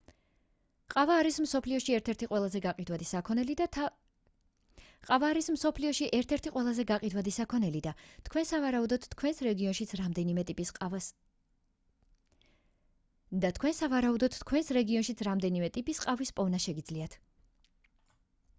ყავა არის მსოფლიოში ერთ-ერთი ყველაზე გაყიდვადი საქონელი და თქვენ სავარაუდოდ თქვენს რეგიონშიც რამდენიმე ტიპის ყავის პოვნა შეგიძლიათ